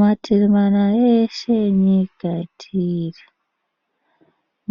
Mativi mana eshe enyika atiri